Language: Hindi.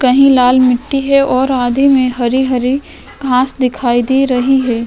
कही लाल मिटी है और आधे आधे में हरी हरी घास दिखाई दे रही है।